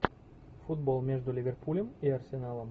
футбол между ливерпулем и арсеналом